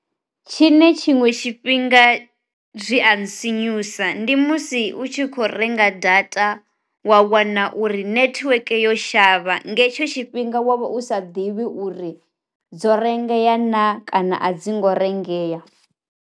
Tshi ne tshinwe tshifhinga zwi and sinyusa ndi musi u tshi kho renga data wa wana uri nethiweke yo shavha nga hetsho tshifhinga wa vha u sa ḓivhi uri dzo rengeya na kana a dzi ngo rengeya.